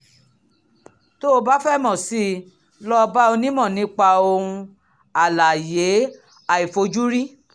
tó o bá fẹ́ mọ̀ sí i lọ bá onímọ̀ nípa ohun alààyè àìfojúrí